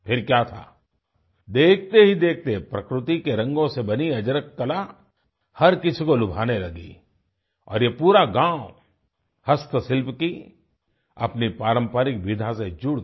फिर क्या था देखतेहीदेखते प्रकृति के रंगों से बनी अजरक कला हर किसी को लुभाने लगी और ये पूरा गाँव हस्तशिल्प की अपनी पारंपरिक विधा से जुड़ गया